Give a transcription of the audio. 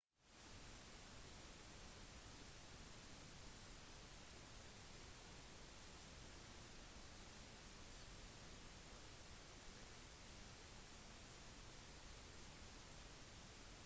disse kan være farlige hvis den reisende fortsetter å følge luftspeilet og med det sløser bort både dyrebar energi og resten av vannet